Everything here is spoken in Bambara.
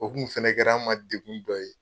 O tun fana kɛl'an ma degun dɔ ye.